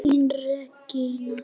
Þín Regína.